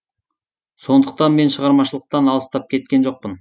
сондықтан мен шығармашылықтан алыстап кеткен жоқпын